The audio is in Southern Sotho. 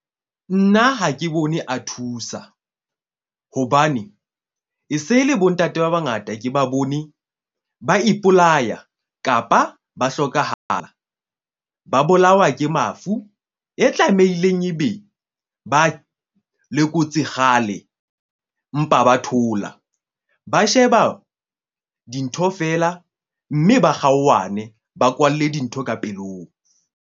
Nna ha ke bone a thusa hobane e se le bontate ba bangata, ke ba bone ba ipolaya kapa ba hlokahala, ba bolawa ke mafu e tlameileng e be ba lekotse kgale. Mpa ba thola, ba sheba dintho feela mme ba kgaohane ba kwalle dintho ka pelong.